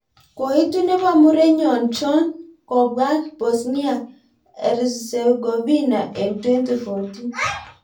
Koitu nebo murenyon chon kobwaag Bosnia-Herzegovina en 2014 .